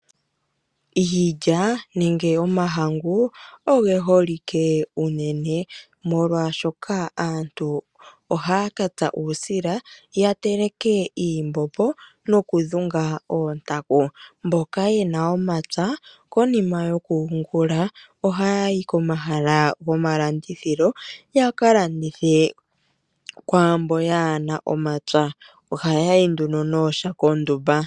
Iilya nenge omahangu ogeholike unene molwaashoka aantu ohaya katsa uusila yateleke iimbombo nokudhunga oontaku. Mboka yena omapya konima yokuyungula oha yayi komahala gomalandithilo yakalandithe kwaambono kaayena omapya, oha yayi nduno nooshako ondumba.